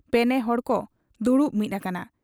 ᱯᱮᱱᱮᱦᱚᱲ ᱠᱚ ᱫᱩᱲᱩᱵ ᱢᱤᱫ ᱟᱠᱟᱱᱟ ᱾